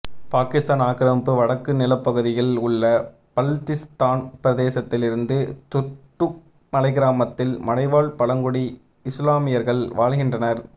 பாகிஸ்தான் ஆக்கிரமிப்பு வடக்கு நிலப்பகுதியில் உள்ள பல்திஸ்தான் பிரதேசத்தில் இருந்த துர்டுக் மலைக்கிராமத்தில்மலைவாழ் பழங்குடி இசுலாமியர்கள் வாழ்கின்றனர்